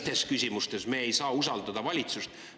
Kuid teistes küsimustes me ei saa usaldada valitsust.